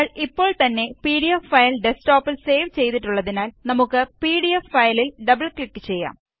നമ്മള് ഇപ്പോള് തന്നെ പിഡിഎഫ് ഫയല് ഡസ്ക് ടോപ്പില് സേവ് ചെയ്തിട്ടുള്ളതിനാല് നമുക്ക് പിഡിഎഫ് ഫയലില് ഡബിള് ക്ലിക് ചെയ്യാം